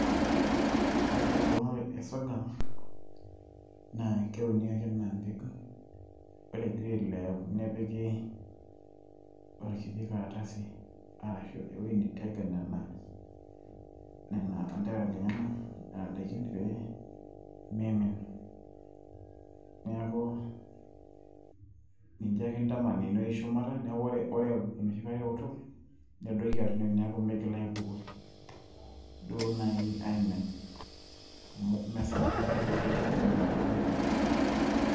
ore eunore e sorghum naa keuni ake anaa mpegu ore egira ailepu nepiki orkiti karatasi[acs] arashu ewueji nitega nena, nena anterara lenyenak nena daikin pee mimin neeku ninche ake intaman enewueji shumata neeku ore enoshi kata eoto nedoiki atua ine wueji neeku miigil aibukori duo naaji aimin amu mesapukin taaduo naaji oleng niaku miindim atudumu tenkop.